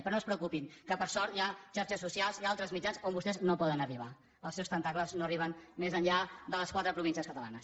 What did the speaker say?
però no es preocupin que per sort hi ha xarxes socials hi ha altres mitjans on vostès no poden arribar els seus tentacles no arriben més enllà de les quatre províncies catalanes